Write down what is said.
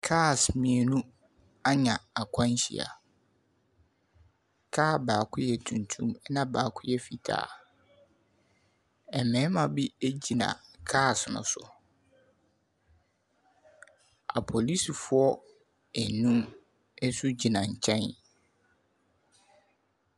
Cars mmienu anya akwanhyia. Kaa baako yɛ tuntum, ɛnna baako yɛ fitaa. Mmarima bi gyina cars no so. Apolisifoɔ nnum nso gyina nkyɛn.